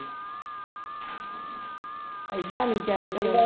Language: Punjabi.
ਐਦਾਂ ਨੀ ਚਾਹੀਦਾ